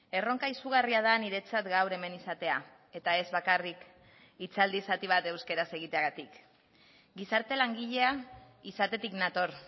erronka izugarria da niretzat gaur hemen izatea eta ez bakarrik hitzaldi zati bat euskaraz egiteagatik gizarte langilea izatetik nator